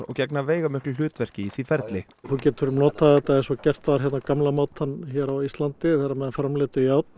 gegna veigamiklu hlutverki í því ferli þú getur notað eins og gert var á gamla mátann hér á Íslandi þegar menn framleiddu járn